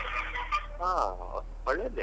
ಹಾ ಒಳ್ಳೇದೇ.